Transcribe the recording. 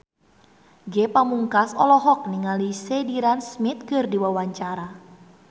Ge Pamungkas olohok ningali Sheridan Smith keur diwawancara